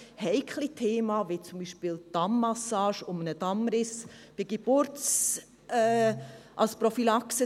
Es sind heikle Themen, wie zum Beispiel die Dammmassage als Prophylaxe gegen einen Dammriss bei der Geburt zu machen.